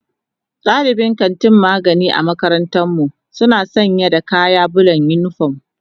Dalibin kantin magani a makarantar mu suna sanya da kayan bulan unipom.